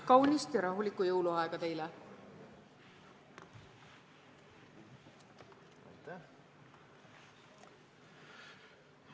Kaunist ja rahulikku jõuluaega teile!